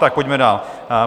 Tak pojďme dál.